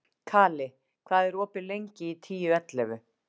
Kali, hvað er opið lengi í Tíu ellefu?